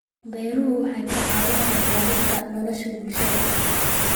Beeruhu waxay ka caawiyaan ilaalinta nolosha bulshada.